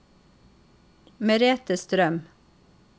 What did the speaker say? Merethe Strøm